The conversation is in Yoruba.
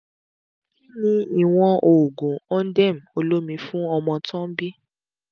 kí ni ìwọn oògun ondem olómi fún ọmọ tó ń bì?